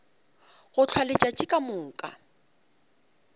go hlwa letšatši ka moka